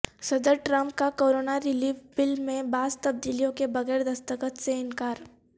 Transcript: صدر ٹرمپ کا corona relief bill میں بعض تبدیلیوں کے بغیر دستخط سے انکار